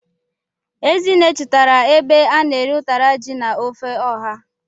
Ezinne chọtara ebe a na-ere ụtara ji na ofe ọha.